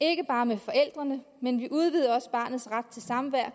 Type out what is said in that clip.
ikke bare med forældrene men vi udvider barnets ret til samvær